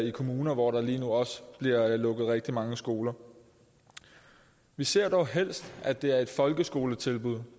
i kommuner hvor der lige nu også bliver lukket rigtig mange skoler vi ser dog helst at det er et folkeskoletilbud